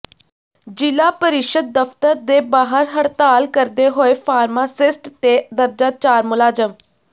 ਜ਼ਿਲ੍ਹਾ ਪਰਿਸ਼ਦ ਦਫ਼ਤਰ ਦੇ ਬਾਹਰ ਹੜਤਾਲ ਕਰਦੇ ਹੋਏ ਫ਼ਾਰਮਾਸਿਸਟ ਤੇ ਦਰਜਾ ਚਾਰ ਮੁਲਾਜ਼ਮ